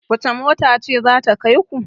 wacece mota ce za ta kai ku?